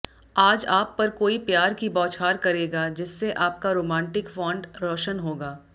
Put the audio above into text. आज आप पर कोई प्यार की बौछार करेगा जिससे आपका रोमांटिक फ़ॉन्ट रोशन होगा